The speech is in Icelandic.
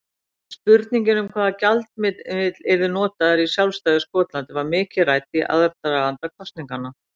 Spurningin um hvaða gjaldmiðill yrði notaður í sjálfstæðu Skotlandi var mikið rædd í aðdraganda kosninganna.